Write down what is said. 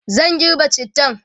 zan girbe cittan